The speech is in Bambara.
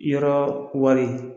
Yɔrɔ wari